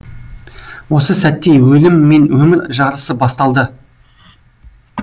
осы сәтте өлім мен өмір жарысы басталды